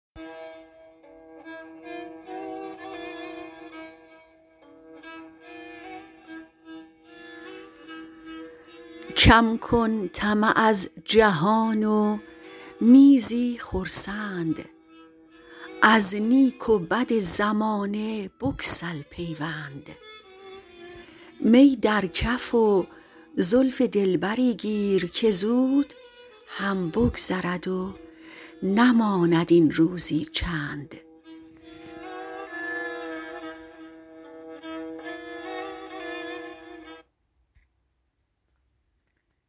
کم کن طمع از جهان و می زی خرسند از نیک و بد زمانه بگسل پیوند می در کف و زلف دلبری گیر که زود هم بگذرد و نماند این روزی چند